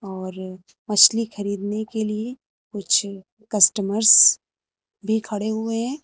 और मछली खरीदने के लिए कुछ कस्टमर भी खड़े हुए हैं।